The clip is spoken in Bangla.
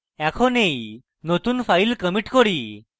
এখন এই নতুন file commit করি